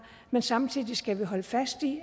men samtidig skal vi holde fast i